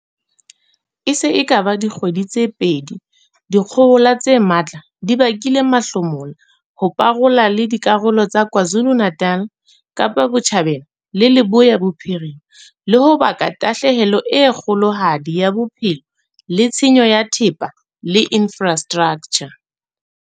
E se e ka ba dikgwedi tse pedi dikgohola tse matla di bakile mahlomola ho parola le dikarolo tsa KwaZulu-Natal, Kapa Botjhabela le Leboya Bophirima, le ho baka tahlehelo e kgolohadi ya bophelo le tshenyo ya thepa le infra straktjha.